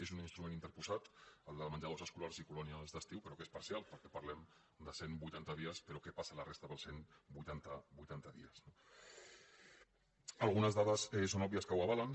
és un instrument interposat el de menjadors escolars i colònies d’estiu però que és parcial perquè parlem de cent vuitanta dies però què passa la resta dels cent vuitanta dies no algunes dades són òbvies que ho avalen